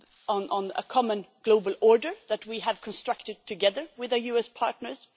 on a common global order that we have constructed together with our US partners.